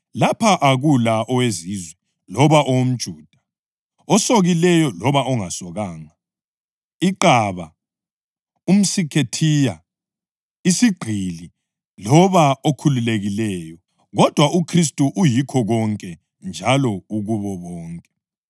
Lapha akula oweZizwe loba umJuda, osokileyo loba ongasokanga, iqaba, umSikhethiya, isigqili loba okhululekileyo kodwa uKhristu uyikho konke njalo ukubo bonke.